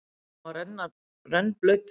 Og hann var rennblautur.